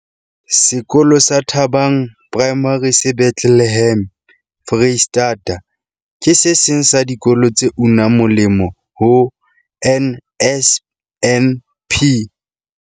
Sekolo sa Thabang Primary se Bethlehem, Freistata, ke se seng sa dikolo tse unang moleng ho NSNP.